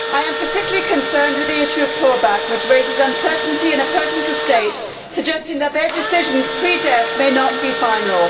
I am particularly concerned with the issue of clawback, which raises uncertainty in a person's estate, suggesting that their decisions pre death may not be final.